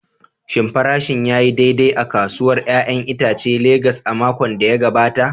Shin farashin ya yi daidai a kasuwar 'ya'yan itacen Legas a makon da ya gabata?